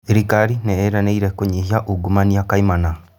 Thirikari nĩ ĩranĩire kũnyihia ungumania kaimana